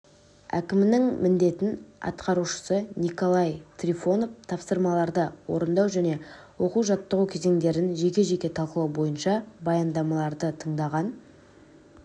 әкімінің міндетін атқарушысы николай трифонов тапсырмаларды орындау және оқу-жаттығу кезеңдерін жеке-жеке талқылау бойынша баяндамаларды тыңдаған